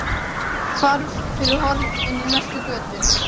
Hvarf fyrir horn inn í næstu götu.